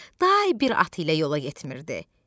Day bir atı ilə yola getmirdi.